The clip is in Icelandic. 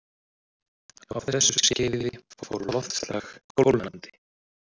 Á þessu skeiði fór loftslag kólnandi.